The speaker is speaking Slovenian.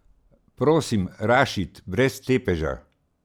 Prosim, Rašid, brez tepeža.